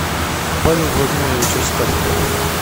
павел владимирович астафьев